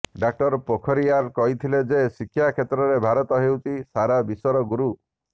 ଡଃ ପୋଖରିୟାଲ୍ କହିଥିଲେ ଯେ ଶିକ୍ଷା କ୍ଷେତ୍ରରେ ଭାରତ ହେଉଛି ସାରା ବିଶ୍ୱର ଗୁରୁ